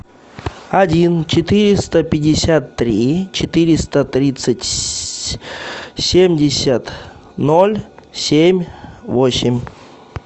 один четыреста пятьдесят три четыреста тридцать семьдесят ноль семь восемь